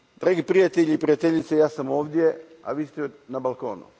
Dragi prijatelji i prijateljice, ja sam ovdje, a vi ste na balkonu.